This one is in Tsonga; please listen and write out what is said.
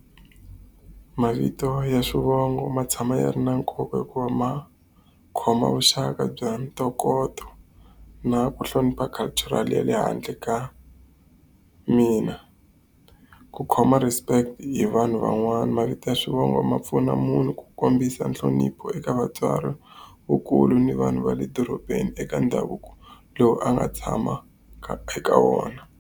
Mavito ya swivongo ma tshama yi ri na nkoka hikuva ma khoma vuxaka bya ntokoto na ku hlonipha cultural ya le handle ka mina. Ku khoma respect hi vanhu van'wana. Mavito ya swivongo ma pfuna munhu ku kombisa nhlonipho eka vatswari, vakulu ni vanhu va le dorobeni eka ndhavuko lowu a nga tshama ka eka wona.